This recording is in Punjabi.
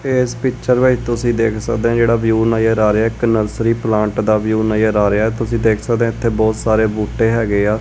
ਇਸ ਪਿਕਚਰ ਵਿੱਚ ਤੁਸੀਂ ਦੇਖ ਸਕਦੇ ਹੋ ਜੇਹੜਾ ਵਿਊ ਨਜ਼ਰ ਆ ਰਿਹਾ ਹੈ ਇੱਕ ਨਰਸਰੀ ਪਲਾਂਟ ਦਾ ਵਿਊਹ ਨਜ਼ਰ ਆ ਰਿਹਾ ਹੈ ਤੁਸੀਂ ਦੇਖ ਸਕਦੇ ਹੋ ਇੱਥੇ ਬਹੁਤ ਸਾਰੇ ਬੂਟੇ ਹੈਗੇ ਆ।